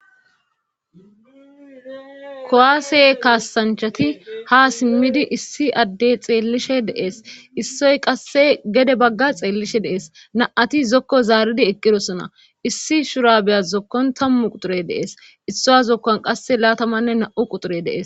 kowaase kaasanchati ha simmidi issi addey xeellishe deees issoy qasse gede bagga xeellishe deees na7ati zokko zaaridi eqqirosona issi shura beyas zokkon tammu quxure deees issoa zokkon qasse laatamanne na7u quxure deees